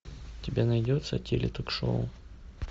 у тебя найдется теле ток шоу